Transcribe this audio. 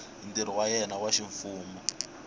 ntirho wa yena wa ximfumo